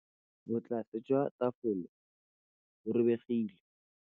Botlasê jwa tafole bo robegile.